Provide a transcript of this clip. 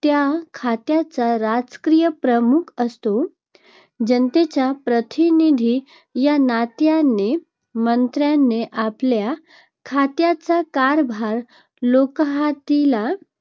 त्या खात्याचा राजकीय प्रमुख असतो. जनतेचा प्रतिनिधी या नात्याने मंत्र्याने आपल्या खात्याचा कारभार लोकहिताला